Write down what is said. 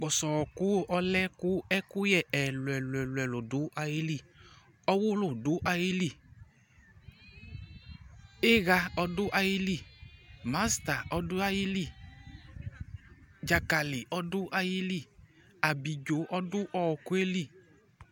Ƙpɔsɔ ɔƙʋ ɔlɛ ƙʋ ɛƙʋƴɛ ɛlʋɛlʋ ɖʋ aƴili: ɔwʋlʋ ɖʋ aƴili, ɩha ɔɖʋ aƴili ,masa ɔɖʋ aƴili, ɖzakalɩ nʋ abiɖzo ɖʋ aƴili